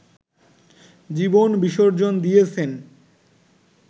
জীবন বিসর্জন দিয়েছেন